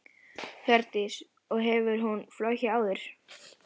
Hjördís: Og hefur hún flogið áður?